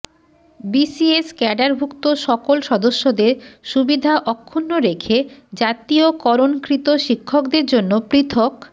BCS ক্যাডারভুক্ত সকল সদস্যদের সুবিধা অক্ষুণ্ন রেখে জাতীয়করণকৃত শিক্ষকদের জন্য পৃথক